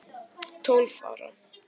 Tólf ára